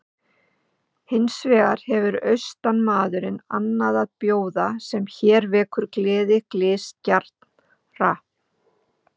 Hins vegar hefur austanmaður annað að bjóða sem hér vekur gleði glysgjarnra.